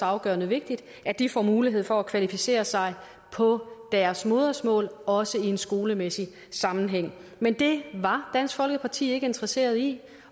afgørende vigtigt at de får mulighed for at kvalificere sig på deres modersmål også i en skolemæssig sammenhæng men det var dansk folkeparti ikke interesseret i